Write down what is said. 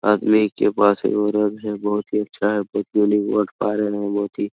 आदमी के पास एगो है बहुत ही अच्छा है बहुत यूनिक बहुत ही --